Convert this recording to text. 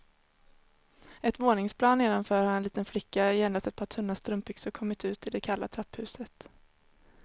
Ett våningsplan nedanför har en liten flicka i endast ett par tunna strumpbyxor kommit ut i det kalla trapphuset.